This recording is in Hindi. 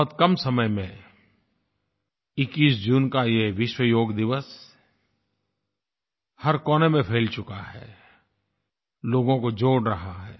बहुत कम समय में 21 जून का ये विश्व योग दिवस हर कोने में फ़ैल चुका है लोगों को जोड़ रहा है